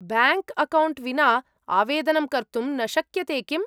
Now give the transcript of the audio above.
Bank account विना आवेदनं कर्तुं न शक्यते किम्‌?